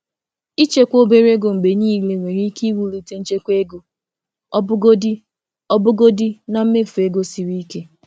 Ịchekwa obere ego mgbe niile nwere ike iwulite nchekwa ego ọbụgodi na mmefu ego siri ike.